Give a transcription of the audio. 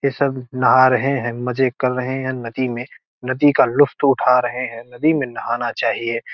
ये सब नहा रहे हैं मजे कर रहे हैं नदी में नदी का लुफ्त उठा रहे हैं नदी में नहाना चाहिये।